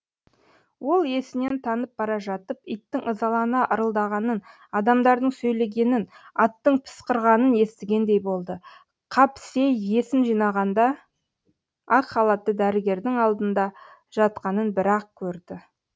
ол есінен танып бара жатып иттің ызалана ырылдағанын адамдардың сөйлегенін аттың пысқырғанын естігендей болды қапсей есін жиғанда ақ халатты дәрігердің алдында жатқанын бір ақ көрді